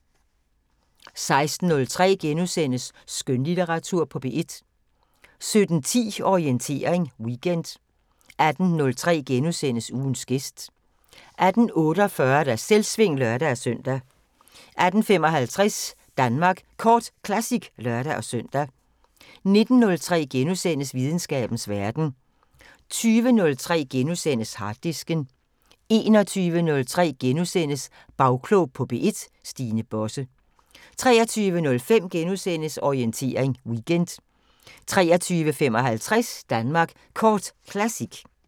16:03: Skønlitteratur på P1 * 17:10: Orientering Weekend 18:03: Ugens gæst * 18:48: Selvsving (lør-søn) 18:55: Danmark Kort Classic (lør-søn) 19:03: Videnskabens Verden * 20:03: Harddisken * 21:03: Bagklog på P1: Stine Bosse * 23:05: Orientering Weekend * 23:55: Danmark Kort Classic